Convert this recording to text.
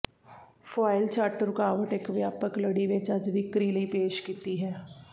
foil ਛੱਟ ਰੁਕਾਵਟ ਇੱਕ ਵਿਆਪਕ ਲੜੀ ਵਿੱਚ ਅੱਜ ਵਿਕਰੀ ਲਈ ਪੇਸ਼ ਕੀਤੀ ਹੈ